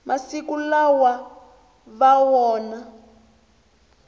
masiku lawa va vona